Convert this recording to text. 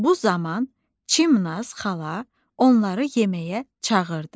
Bu zaman Çimnaz xala onları yeməyə çağırdı.